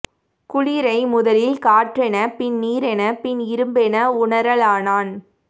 குளிரை முதலில் காற்றென பின் நீரென பின் இரும்பென உணரலானான்